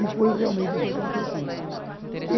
E foi realmente o que aconteceu.